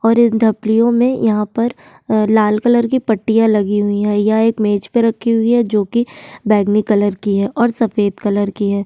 और इन धपलियों में यहां पर अ लाल कलर की पट्टियां लगी हुई हैं। यह एक मेज पे रखी हुई है जोकि बैगनी कलर की हैं और सफेद कलर की हैं।